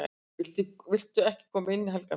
"""VILTU EKKI KOMA INN, HELGA MÍN!"""